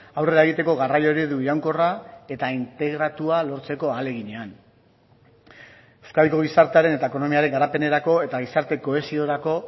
aurrera egiteko garraio eredu iraunkorra eta integratua lortzeko ahaleginean euskadiko gizartearen eta ekonomiaren garapenerako eta gizarte kohesiorako